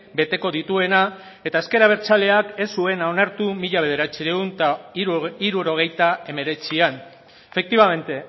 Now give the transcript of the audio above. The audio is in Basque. beteko dituena eta ezker abertzaleak ez zuena onartu mila bederatziehun eta hirurogeita hemeretzian efectivamente